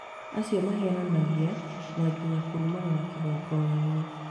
Acio mahenanagia na nginya kũrumanĩra kĩgongonainĩ